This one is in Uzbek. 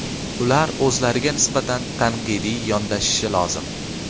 Ular o‘zlariga nisbatan tanqidiy yondashishi lozim.